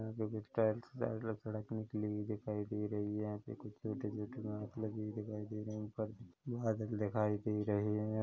यहाँ पर कुछ टाइल्स सड़क निकली दिखाई दे रही है यहाँ पे कुछ छोटे - छोटे बांस लगे हुए दिखाई दे रहे है ऊपर बादल दिखाई दे रहे है।